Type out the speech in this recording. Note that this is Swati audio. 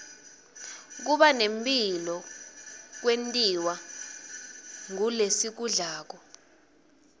kubane mphilo kwentiwa ngulesikudlako